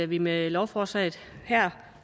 vi med lovforslaget her